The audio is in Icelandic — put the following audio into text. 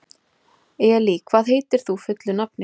Elí, hvað heitir þú fullu nafni?